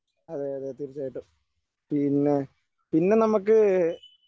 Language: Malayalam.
അതേയതേ തീർച്ചയായിട്ടും. പിന്നെ പിന്നെ നമുക്ക്